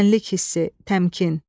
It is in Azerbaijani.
Mənlik hissi, təmkin.